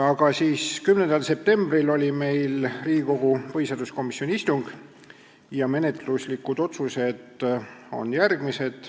Aga 10. septembril oli Riigikogu põhiseaduskomisjoni istung ja menetluslikud otsused on järgmised.